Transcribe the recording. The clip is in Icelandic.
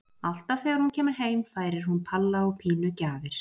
Alltaf þegar hún kemur heim færir hún Palla og Pínu gjafir.